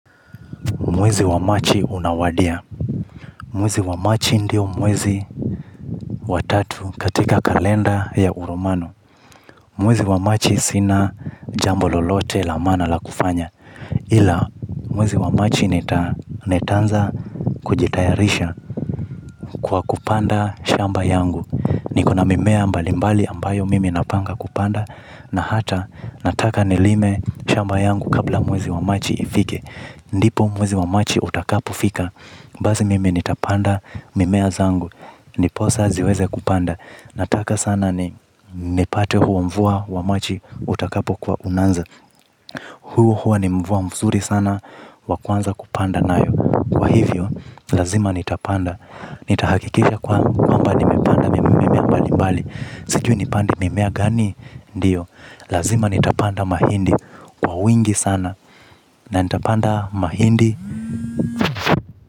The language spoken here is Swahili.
Mwezi wa Marchi unawadia. Mwezi wa machi ndio mwezi wa tatu katika kalenda ya uromano. Mwezi wa machi sina jambo lolote la maana la kufanya. Ila mwezi wa machi nitaanza kujitayarisha kwa kupanda shamba yangu. Nikona mimea mbalimbali ambayo mimi napanga kupanda na hata nataka nilime shamba yangu kabla mwezi wa machi ifike. Ndipo mwezi wa machi utakapo fika. Basi mimi nitapanda mimea zangu. Ndiposa ziweze kupanda. Nataka sana ni nipate huo mvua wa machi utakapo kuwa unanza. Huo huo ni mvua mzuri sana wa kuanza kupanda nayo. Kwa hivyo lazima nitapanda. Nitahakikisha kwa kwamba nimepanda mimea mbali mbali. Sijui nipande mimea gani ndiyo. Lazima nitapanda mahindi kwa wingi sana. Na nitapanda mahindi.